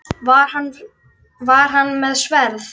Var hann með sverð?